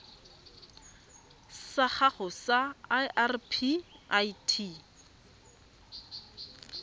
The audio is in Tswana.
sa gago sa irp it